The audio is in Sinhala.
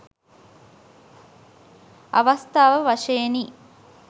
අවස්ථාව වශයෙනි.